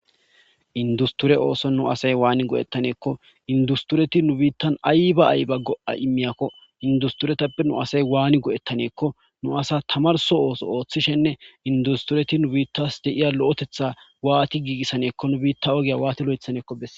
industure ooson nu asay waani go7ettaneekko industureti nu biittan ayba ayba go7a imiyakko industuretappe nu asay waani go7ettaneekko nu asa tamarso ooso ooththishenne industureti nu biittas deiya lo7etetha waati giigissaneekko nu biitta ogiya waati lo7ethaneekko besse